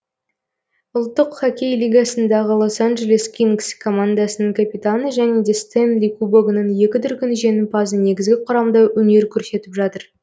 ұлттық хоккей лигасындағы лос анджелес кингз командасының капитаны және де стэнли кубогының екі дүркін жеңімпазы негізгі құрамда өнер көрсетіп жатыр